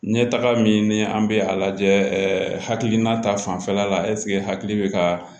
N ye taga min ni an bɛ a lajɛ hakilina ta fanfɛla la hakili bɛ ka